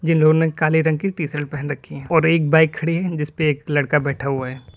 जिन्होंने काले रंग की टीशर्ट पहन रखी है और एक बाइक खड़ी है जिस पर एक लड़का बैठा हुआ है।